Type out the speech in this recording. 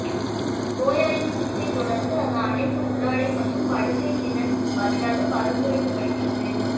நோயாளியின் சிகிச்சை தொடர்ந்து அது அனைத்து உள்ளாடை மற்றும் படுக்கை லினன் பதிலாக பரிந்துரைக்கப்படுகிறது